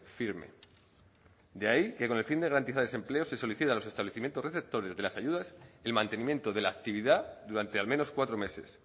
firme de ahí que con el fin de garantizar ese empleo se solicite a los establecimientos receptores de las ayudas el mantenimiento de la actividad durante al menos cuatro meses